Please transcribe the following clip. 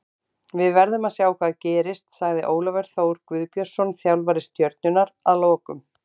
Við verðum að sjá hvað gerist, sagði Ólafur Þór Guðbjörnsson þjálfari Stjörnunnar að lokum.